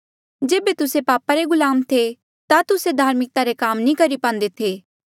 जेबे तुस्से पापा रे गुलाम थे ता तुस्से धार्मिकता रे काम नी करी पांदे थे